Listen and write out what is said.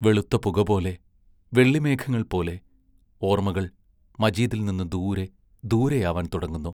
വെളുത്ത പുകപോലെ, വെള്ളിമേഘങ്ങൾ പോലെ, ഓർമ്മകൾ മജീദിൽ നിന്ന് ദൂരെ, ദൂരെയാവാൻ തുടങ്ങുന്നു.....